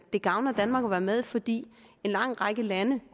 det gavner danmark at være med fordi en lang række lande